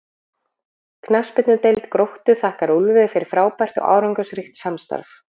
Knattspyrnudeild Gróttu þakkar Úlfi fyrir frábært og árangursríkt samstarf.